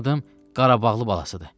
Mənim adım Qarabağlı Balasıdır.